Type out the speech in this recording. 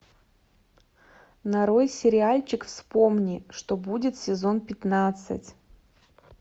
нарой сериальчик вспомни что будет сезон пятнадцать